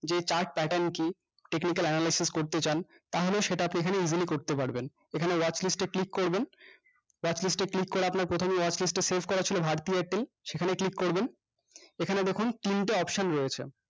যে chart pattern কি technical analysis করতে চান তাহলে সেটা আপনি এখানে easily করতে পারবেন এখানে watchlist এ click করবেন watchlist এ click করে আপনার প্রথমে watchlist এ select করা ছিল bharti airtel সেখানে click করবেন এখানে দেখুন তিনটে option রয়েছে